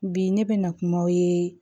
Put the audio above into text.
Bi ne bɛ na kumaw ye